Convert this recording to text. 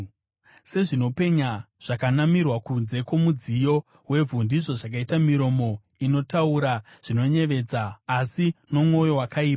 Sezvinopenya zvakanamirwa kunze kwomudziyo wevhu, ndizvo zvakaita miromo inotaura zvinoyevedza, asi nomwoyo wakaipa.